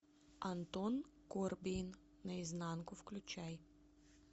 антон корбейн наизнанку включай